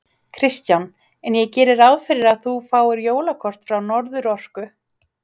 Kristján: En ég geri ráð fyrir að þú fáir jólakort frá Norðurorku?